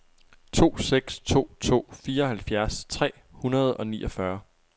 to seks to to fireoghalvfjerds tre hundrede og niogfyrre